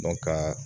ka